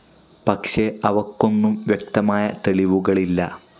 പക്ഷെ അവയ്ക്കൊന്നും വ്യക്തമായ തെളിവുകളില്ല.